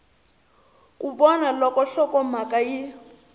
ku vona loko nhlokomhaka yi